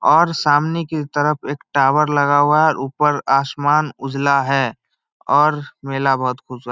और सामने की तरफ एक टावर लगा हुआ है ऊपर आसमान उजला है और मेला बहुत खूबसूरत --